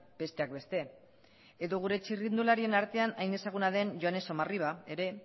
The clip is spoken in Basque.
besteak beste edo gure txirrindularien artean hain ezaguna den joane somarriba ere